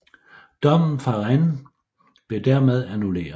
Dommen fra Rennes blev dermed annulleret